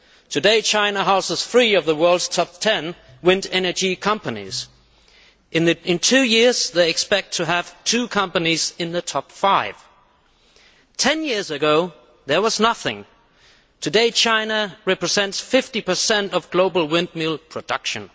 today, China houses one of the world's top ten wind energy companies. In two years, they expect to have two companies in the top five. Ten years ago, there was nothing. Today, China represents 50 of global windmill production.